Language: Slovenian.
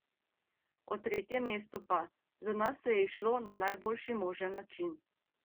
O tretjem mestu pa: "Za nas se je izšlo na najboljši možen način.